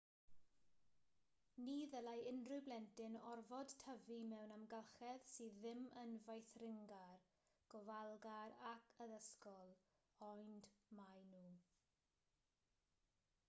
ni ddylai unrhyw blentyn orfod tyfu mewn amgylchedd sydd ddim yn feithringar gofalgar ac addysgol ond maen nhw